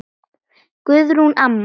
Guðrún amma.